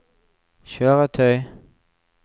kjøretøy